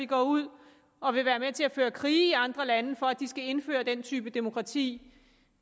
går ud og vil være med til at føre krig i andre lande for at de skal indføre den type demokrati